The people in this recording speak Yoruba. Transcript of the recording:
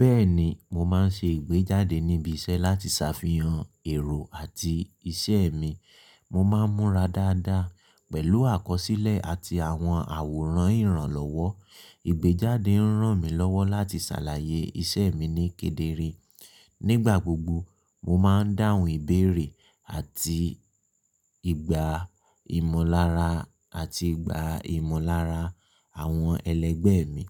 Bẹ́ẹ̀ni, mo máa ń ṣe ìgbéjáde níbi iṣẹ́ láti ṣàfihàn ẹ̀rọ àti iṣẹ́ mi. Mo máa ń múra dáadáa pẹ̀lú àkọsílẹ̀ àti àwọn àwòrán ìrànlọ́wọ́. Ìgbéjáde ń ràn mí lọ́wọ́ láti ṣàlàyé iṣẹ́ mi ní kedere. Nígbà gbogbo, mo máa ń dáhùn ìbéèrè àti ìgbà ìmọ̀lára àti ìgbà ìmọ̀lára àwọn ẹlẹgbẹ́ mi.